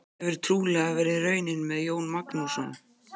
Það hefur trúlega verið raunin með Jón Magnússon.